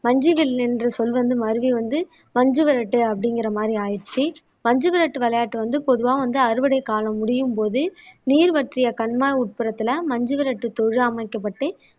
என்ற சொல் வந்து மருவி வந்து மஞ்சு விரட்டு அப்படிங்கிற மாதிரி ஆயிடுச்சு மஞ்சு விரட்டு விளையாட்டு வந்து பொதுவா வந்து அறுவடை காலம் முடியும்போது நீர் வற்றிய கண்மாய் உட்புறத்துல மஞ்சுவிரட்டு தொழு அமைக்கப்பட்டு